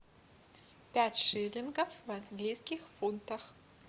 пять шиллингов в английских фунтах